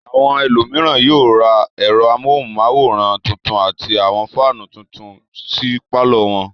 Àwọn ẹlòmíràn yóò ra ẹ̀rọ amóhùmáwòhán tuntun àti àwọn fáánù tuntub sí pálọ̀ wọn.